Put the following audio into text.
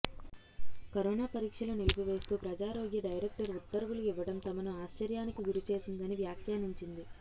corona పరీక్షలు నిలిపివేస్తూ ప్రజారోగ్య డైరెక్టర్ ఉత్తర్వులు ఇవ్వడం తమను ఆశ్చర్యానికి గురిచేసిందని వ్యాఖ్యానించింది